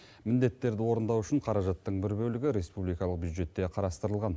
міндеттерді орындау үшін қаражаттың бір бөлігі республикалық бюджетте қарастырылған